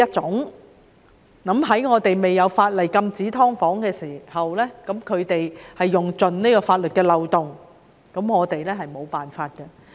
在本港未有法例禁止經營"劏房"的情況下，業主們用盡法律的漏洞，我們是無法處理的。